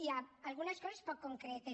i algunes coses poc concretes